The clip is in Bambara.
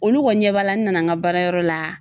Olu kɔni ɲɛ b'a la n nana ŋa baarayɔrɔ la